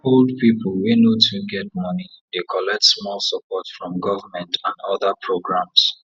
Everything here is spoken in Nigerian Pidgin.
old people wey no too get money dey collect small support from government and other programs